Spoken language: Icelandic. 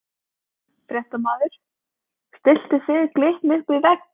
Fréttamaður: Stilltu þið Glitni upp við vegg?